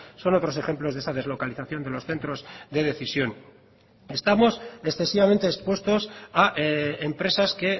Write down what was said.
son otros ejemplos de esa deslocalización de los centros de decisión estamos excesivamente expuestos a empresas que